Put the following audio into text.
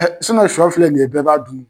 sɔ filɛ nin ye bɛɛ b'a dun